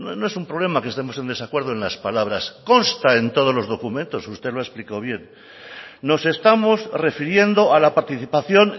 no es un problema que estemos en desacuerdo en las palabras consta en todos los documentos usted lo ha explicado bien nos estamos refiriendo a la participación